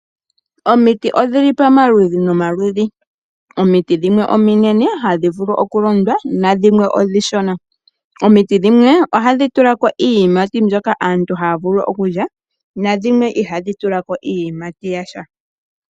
Omiti odhili poma ludhi noma ludhi. Omiti dhimwe ominene hadhi vulu oku londwa nadhimwe omishona. Omiti dhimwe ohadhi tulako iiyimati, mbyoka aantu haya vulu okulya, nadhimwe ihaadhi tulako iiyimati yasha.